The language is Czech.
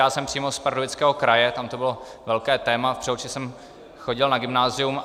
Já jsem přímo z Pardubického kraje, tam to bylo velké téma, v Přelouči jsem chodil na gymnázium.